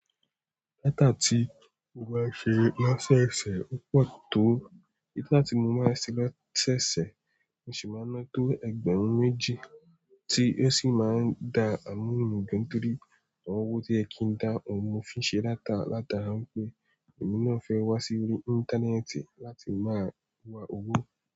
Data ti mo máa ń ṣe lóṣẹ́ṣe ò pọ̀ tó. Data tí mo máa ń ṣe lóṣẹ́ṣe mò sì máa ń ná tó ẹgbẹ̀rún méjì tí ó sì máa ń dá àwon owo mi gan girí, awon ọwọ́ tí o yẹ kí ń dá ọun ni mọ fi n ṣe data látara wípé èmi náà fẹ́ wá sí orí Íńtánẹ́ẹ̀tì láti máa wa owó.